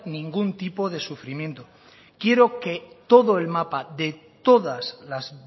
ningún tipo de sufrimiento quiero que todo el mapa de todas las